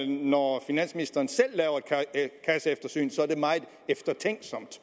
når finansministeren selv laver et kasseeftersyn så er det meget eftertænksomt